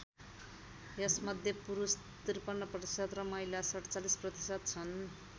यसमध्ये पुरुष ५३% र महिला ४७% छन्।